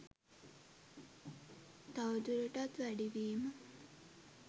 තවදුරටත් වැඩි වීම